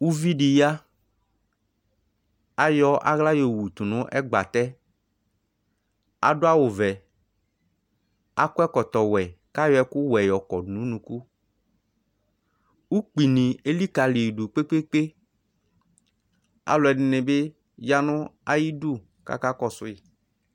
uvidi ya ayɔ aɣla yɔwutu n'egbatɛ adu'awu vɛ akɔ ɛkɔtɔ wɛ kyo ɛku wɛ yɔkɔdu n'unuku ukpini elikaliyidu kpekpekpe aluedinibi yanu iyidu kakakɔsuyi